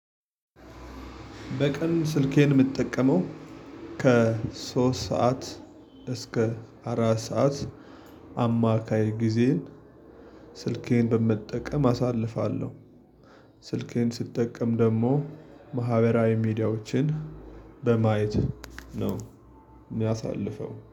በቀን ስልኬን የምጠቀመው ከሶስት ሰዓት እስከ አራት ሰዓት አማካይ ጊዜን ስልኬን በመጠቀም አሳልፋለሁ። ስልኬን ስትጠቀም ደግሞ ማህበራዊ ሚዲያዎችን በማየት ነው ምያሳልፈው